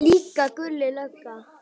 Líka Gulli lögga.